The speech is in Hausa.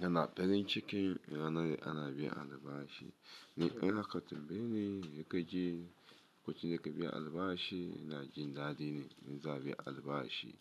kana farin ciki ranan, ana biyan albashi. Ni in a ka tambaye ni, ya nake ji, lokacin nake biyan albashi? Ina jin daɗi in za'a biya albashi.